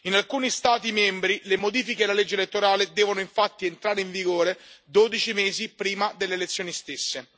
In alcuni Stati membri, le modifiche della legge elettorale devono infatti entrare in vigore dodici mesi prima delle elezioni stesse.